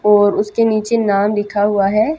और उसके नीचे नाम लिखा हुआ है।